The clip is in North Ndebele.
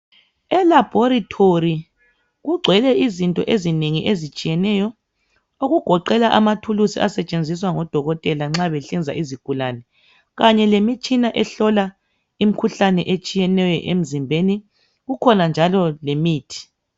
Elabholitholi kungwele izinto ezinengi ezitshieneyo okugoqela amathulisi asetshenziswa ngodokotela nxa besinza izigulane, kanye lemitshina ehlola imikhuhlane etshiyeneyo emizimbeni, kukhona njalo lemithi.